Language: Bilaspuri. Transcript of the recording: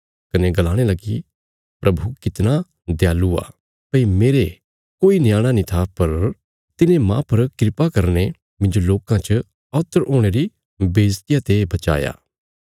कने गलाणे लगी प्रभु कितना दयालु आ भई मेरे कोई न्याणा नीं था पर तिने मांह पर किरपा करीने मिन्जो लोकां च औत्तर हुणे री बेईज्जतिया ते बचाया